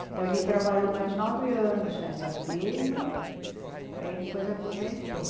Então ele trabalhou mais nove anos nessa firma, aí depois aposentou.